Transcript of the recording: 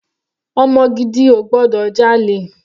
Ọmọ gidi ò gbọdọ̀ jalè.